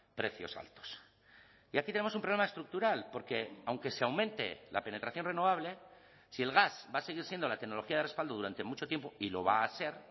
precios altos y aquí tenemos un problema estructural porque aunque se aumente la penetración renovable si el gas va a seguir siendo la tecnología de respaldo durante mucho tiempo y lo va a ser